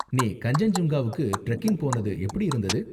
நீ கன்சென்ஜுங்காவுக்கு ட்ரெக்கிங் போனது எப்படி இருந்தது?